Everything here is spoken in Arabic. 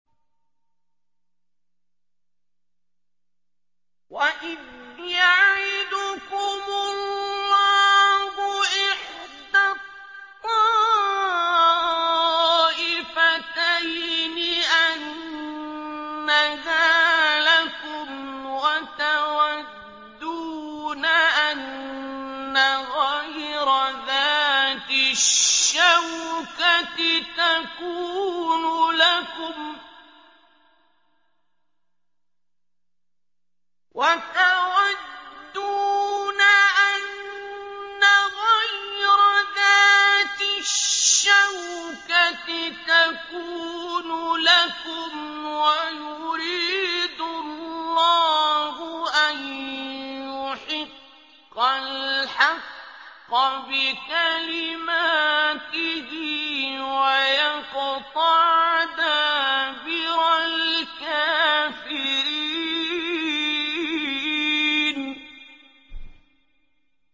وَإِذْ يَعِدُكُمُ اللَّهُ إِحْدَى الطَّائِفَتَيْنِ أَنَّهَا لَكُمْ وَتَوَدُّونَ أَنَّ غَيْرَ ذَاتِ الشَّوْكَةِ تَكُونُ لَكُمْ وَيُرِيدُ اللَّهُ أَن يُحِقَّ الْحَقَّ بِكَلِمَاتِهِ وَيَقْطَعَ دَابِرَ الْكَافِرِينَ